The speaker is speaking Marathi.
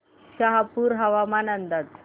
शहापूर हवामान अंदाज